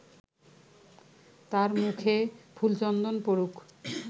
তাঁর মুখে ফুলচন্দন পড়ুক